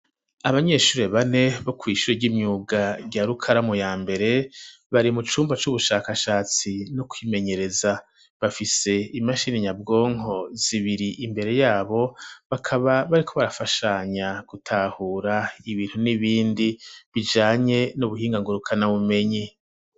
Abanyeshure bane bo kwishure ry'imyuga rya rukaramu ya mbere bari mu cumba c'ubushakashatsi no kwimenyereza bafise imashini nyabwonko zibiri imbere yabo bakaba bariko barafashanya gutahura ibintu n'ibindi bijanye n'ubuhinga ngurukana bumenyi.